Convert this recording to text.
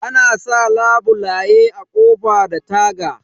Ana sa labule a ƙofa da taga